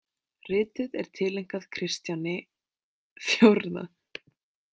Ritið er tileinkað Kristjáni IV.